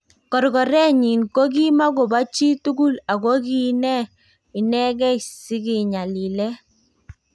Korkoreet nyin ko kimakoboo chi tukul ako kii nee inekei sikinyalilen .